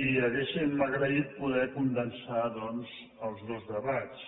i hauríem agraït poder condensar doncs els dos debats